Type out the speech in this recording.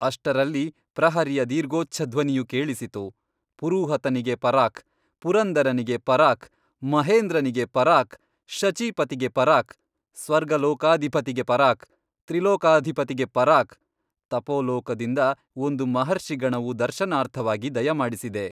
ಅಷ್ಟರಲ್ಲಿ ಪ್ರಹರಿಯ ದೀರ್ಘೋಚ್ಚಧ್ವನಿಯು ಕೇಳಿಸಿತು ಪುರುಹೂತನಿಗೆ ಪರಾಕ್ ಪುರಂದರನಿಗೆ ಪರಾಕ್ ಮಹೇಂದ್ರನಿಗೆ ಪರಾಕ್ ಶಚೀಪತಿಗೆ ಪರಾಕ್ ಸ್ವರ್ಗಲೋಕಾಧಿಪತಿಗೆ ಪರಾಕ್ ತ್ರಿಲೋಕಾಧಿಪತಿಗೆ ಪರಾಕ್ ತಪೋಲೋಕದಿಂದ ಒಂದು ಮಹರ್ಷಿಗಣವು ದರ್ಶನಾರ್ಥವಾಗಿ ದಯಮಾಡಿಸಿದೆ.